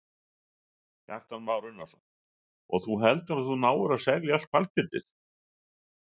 Kristján Már Unnarsson: Og þú heldur að þú náir að selja allt hvalkjötið?